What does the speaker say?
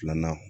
Filanan